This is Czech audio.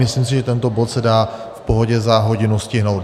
Myslím si, že tento bod se dá v pohodě za hodinu stihnout.